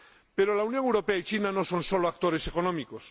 Pero la Unión Europea y China no son solo actores económicos